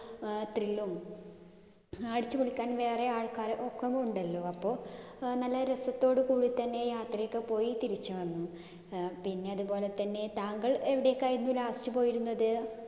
അഹ് thrill ഉം അടിച്ചുപൊളിക്കാൻ വേറെ ആൾക്കാരൊക്കെ ഉണ്ടല്ലോ. അപ്പൊ അഹ് നല്ല രസത്തോടുകൂടിതന്നെ യാത്രയൊക്കെ പോയി തിരിച്ചു വന്നു. അഹ് പിന്നെ അതുപോലെതന്നെ താങ്കൾ എവിടെക്കായിരുന്നു last പോയിരുന്നത്?